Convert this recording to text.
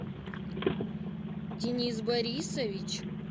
денис борисович